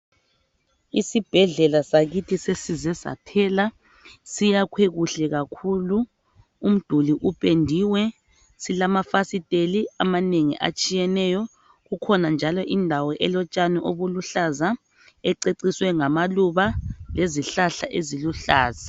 Isibhedlela sakithi sesize saphela. Siyakhwe kuhle kakhulu, umduli upendiwe. Silamafasiteli amanengi atshiyeneyo. Kukhona njalo indawo elotshani obuluhlaza ececiswe ngamaluba lezihlahla eziluhlaza.